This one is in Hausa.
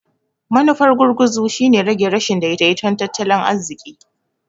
Manufar gurguzu shine rage rashin daidaiton tattalin arziƙi.